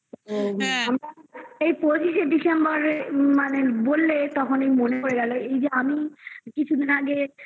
তো আমরা এই পচিশে December মানে বললে তখনই মনে পড়ে গেল এই যে আমি কিছুদিন আগে